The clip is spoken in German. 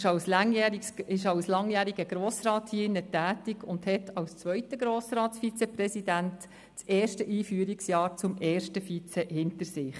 Er ist als langjähriger Grossrat hier im Rat tätig und hat als zweiter Grossratsvizepräsident das erste Einführungsjahr im Hinblick auf das erste Vizepräsidium hinter sich.